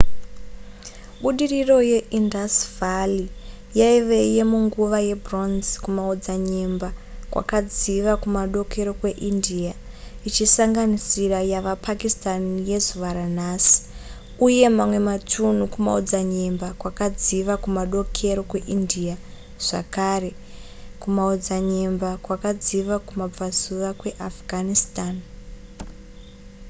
budiriro ye indus valley yaive yemunguva yebronze kumaodzanyemba kwakadziva kumadokero kweindia ichisanganisira yava pakistan yezuva ranhasi uye mamwe matunhu kumaodzanyemba kwakadziva kumadokero kweindia zvakare kumaodzanyemba kwakadziva kumabvazuva kweafghanistan